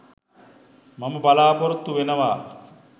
මම බලාපොරොත්තු වෙනවා.